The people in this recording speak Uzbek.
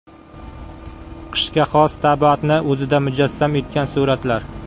Qishga xos tabiatni o‘zida mujassam etgan suratlar.